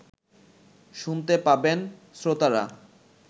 শুনতে পাবেন শ্রোতারা